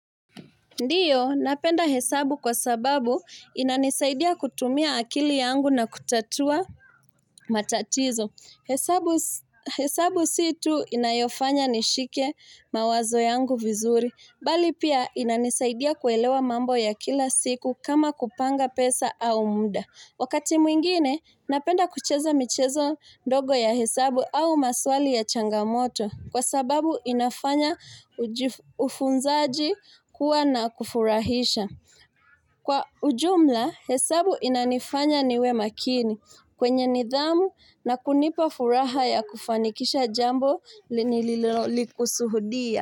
Ndiyo, napenda hesabu kwa sababu inanisaidia kutumia akili yangu na kutatua matatizo. Hesabu hesabu si tu inayofanya nishike mawazo yangu vizuri. Bali pia inanisaidia kuelewa mambo ya kila siku kama kupanga pesa au munda. Wakati mwingine, napenda kucheza michezo ndogo ya hesabu au maswali ya changamoto. Kwa sababu inafanya. Ufunzaji kuwa na kufurahisha. Kwa ujumla, hesabu inanifanya niwe makini. Kwenye nidhamu na kunipa furaha ya kufanikisha jambo nililo kusudia.